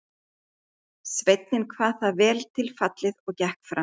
Sveinninn kvað það vel til fallið og gekk fram.